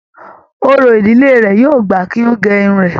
Òrò ìdílé rẹ yóò gbà kí gé Irun rẹ.